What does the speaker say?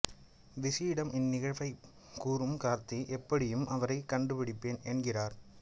விசியிடம் இந்நிகழ்வை கூறும் கார்த்திக் எப்படியும் அவரை கண்டுபிடிப்பேன் என்கிறார்